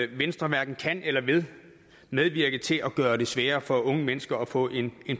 venstre hverken kan eller vil medvirke til at gøre det sværere for unge mennesker at få en